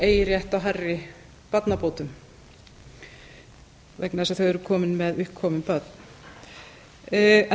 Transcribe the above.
eigi rétt á hærri barnabótum vegna þess að þau eru komin með uppkomin